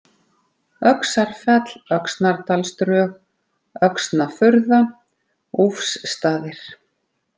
Öxarfell, Öxnadalsdrög, Öxnafurða, Úfsstaðir